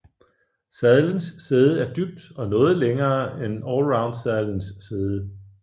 Sadlens sæde er dybt og noget længere end allroundsadlens sæde